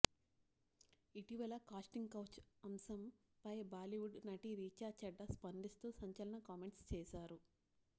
ఇటీవల casting couch అంశంపై బాలీవుడ్ నటి రీచా చద్దా స్పందిస్తూ సంచలన కామెంట్స్ చేశారు